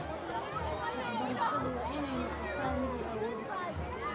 Waxbarashadu waa inay noqotaa mid la awoodi karo.